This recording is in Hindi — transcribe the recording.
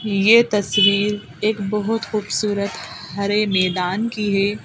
ये तस्वीर एक बहोत खूबसूरत हरे मैदान की है।